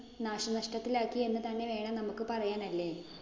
നാശനഷ്ടത്തിലാക്കി എന്ന് തന്നെ വേണം നമുക്ക് പറയാന്‍ അല്ലേ.